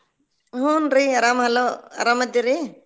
ಹುನ್ರಿ ಆರಾಮ್ hello ಆರಾಮ್ ಅದಿರಿ?